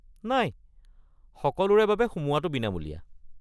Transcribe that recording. নাই, সকলোৰে বাবে সোমোৱাটো বিনামূলীয়া।